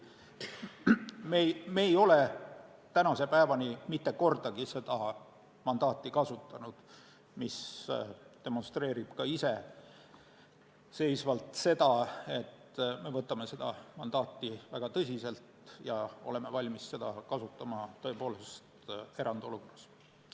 Me ei ole tänase päevani mitte kordagi seda mandaati kasutanud, mis demonstreerib iseenesest seda, et me võtame seda mandaati väga tõsiselt ja oleme valmis seda kasutama tõepoolest erandolukorras.